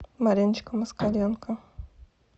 мариночка москаленко